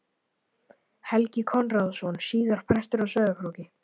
Helgi Konráðsson, síðar prestur á Sauðárkróki.